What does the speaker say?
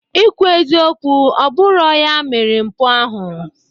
Ikwu eziokwu, ọbụrọ ya mere mpụ ahụ.